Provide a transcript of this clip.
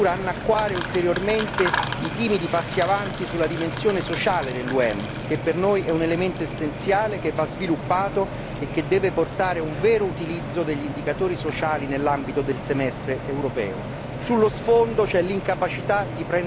Alcuni governi in scadenza vogliono addirittura annacquare ulteriormente i timidi passi avanti sulla dimensione sociale dell'UEM, che per noi è un elemento essenziale che va sviluppato e che deve portare a un vero utilizzo degli indicatori sociali nell'ambito del semestre europeo.